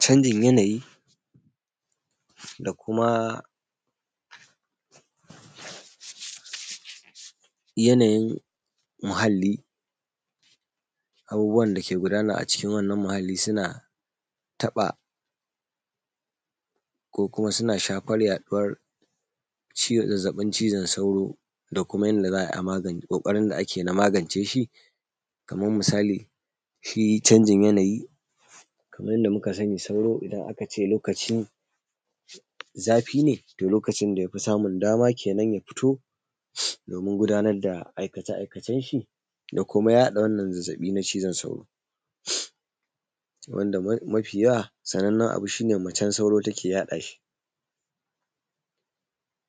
Canjin yanayi da kuma yanayin muhallii, abubuwan da ke gudana cikin wannan muhalli suna taɓa ko kuma suna shafar yaɗuuwar ciwon zazzaɓin cizon sauro, da kuma yadda za a yi a magance ko ƙooƙarin da ake na magance shi. Kamar misali, shi canjin yanayi kaman yadda muka sani sauro idan aka cee lokacin zafi neto lokacin da ya fi samun dama kenan, doomin ya fito doomin gudanar da aikace-aikacen shi da kuma yaɗa wannan zazzaɓi na cizon sauro,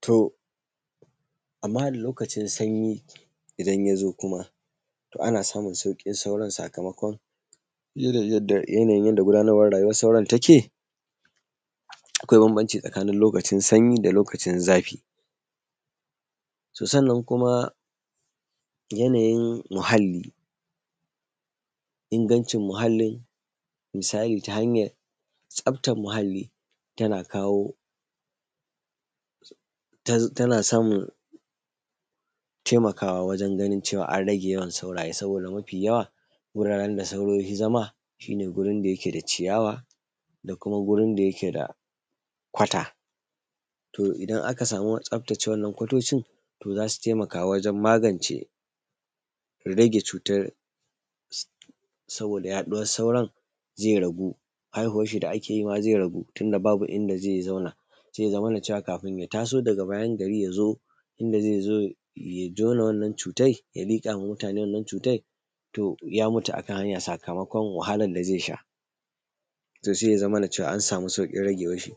To a muhalli, lokacin sanyii idan ya zoo kuma, to ana samun sauƙin sauron sakamakon irin yadda yanayin yadda gudanarwan rayuwar sauron take, akwai bambanci tsakaanin lokacin sanyi da lokacin zafi. To sannan kuma yanayin muhalli, ingancin muhallin, misali ta hanyar tsabtar muhalli tana kawo tana samun taimakaawa wajen ganin ceewa an rage yawan saurayee, sabooda mafii yawa guraaren da sauro yafii zama shi ne gurin da yake da ciya:wa da kuma gurin da yake da kwata. To idan aka samu tsaftace wannan kwatoocin to za su taimaka wajen magance rage cuutar sabooda yaɗuwar, sauron zai ragu, haihuwarshi da ake maa zai ragu. Tun da babu inda zai zauna, sai ya zamana ceewa kafin ya taso daga bayan gari ya zoo inda zai zoo ya jona wannan cutai ya liƙa wa mutaane wannan cuutai to ya mutu a kan hanya sakamakon wahalan da zai sha, to sai ya zamana ceewa an samu sauƙin rageewarshi.